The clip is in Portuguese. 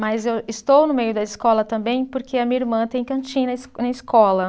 Mas eu estou no meio da escola também porque a minha irmã tem cantina na escola.